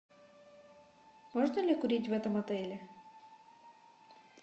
можно ли курить в этом отеле